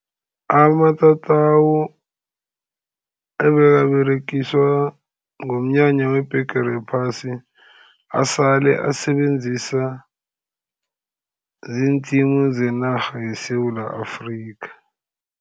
Amatatawu abekaberegiswa ngomnyanya webhigiri yephasi asale asebenziswa zii-team zenarha yeSewula Afrika.